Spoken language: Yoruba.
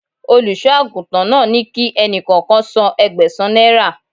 Olùṣọ́ àgùntàn náà ní kí ẹni kọ̀ọ̀kan san Ẹgbẹ̀sán náírà